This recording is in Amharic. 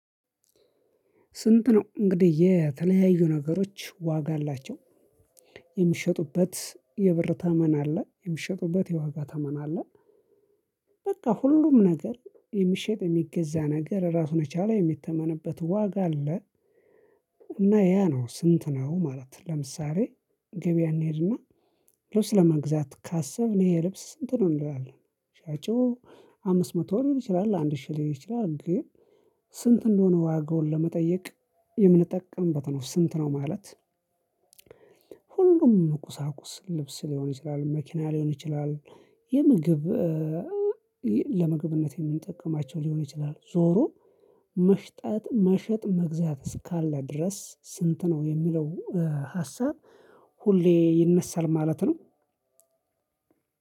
ስንት? ነው እንግዲህ የተለያዩ ነገሮች ዋጋ አላቸው የሚሸጡበት የብር ተመን አለ የሚሸጡበት የዋጋ ተመን አለ። በቃ ሁሉም ነገር የሚሸጥ የሚገዛ ነገር እራሱን የቻለ የሚተመንበት ዋጋ አለ። እና ያ ነው ስንት ነው ማለት? ለምሳሌ ገበያ እንሄድና ልብስ ለመግዛት ካሰብን ይሄ ልብስ ስንት ነው እንላለን አለ። ሻጩ አምስት መቶ ሊል ይችላል አንድ ሺህ ሊል ይችላል። ግን ስንት እንደሆነ ዋጋውን ለመጠየቅ የምንጠቀምበት ነው ስንት ነው ማለት? ሁሉም ቁሳቁስ ልብስ ሊሆን ይችላል መኪና ሊሆን ይችላል። የምግብ ለምግብነት የምንጠቀማቸው ሊሆን ይችላል። ዞሮ መሸጥ መግዛት እስካለ ድረስ ስንት ነው የሚለው ሀሳብ ሁሌ ይነሳል ማለት ነው።